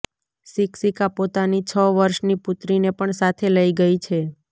શિક્ષિકા પોતાની છ વર્ષની પુત્રીને પણ સાથે લઇ ગઇ છે